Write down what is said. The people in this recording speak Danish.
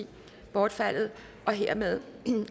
bortfaldet hermed